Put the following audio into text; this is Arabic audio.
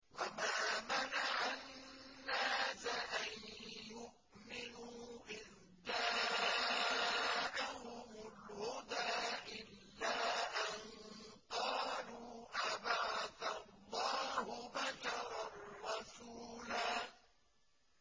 وَمَا مَنَعَ النَّاسَ أَن يُؤْمِنُوا إِذْ جَاءَهُمُ الْهُدَىٰ إِلَّا أَن قَالُوا أَبَعَثَ اللَّهُ بَشَرًا رَّسُولًا